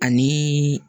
Ani